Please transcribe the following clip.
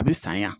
A bɛ saɲɔ